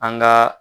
An ka